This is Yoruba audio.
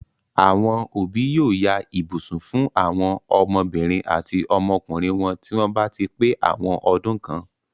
Àwọn òbí yóò ya ibùsùn fún àwọn ọmọbìnrin àti ọmọkùnrin wọn tí wọ́n bá ti pé àwọn ọdún kan.